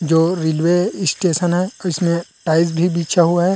जो railway station है इसमें टाइल्स भी बिछा हुआ है।